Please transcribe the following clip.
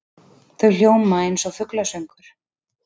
Þau hljóma einsog fuglasöngur.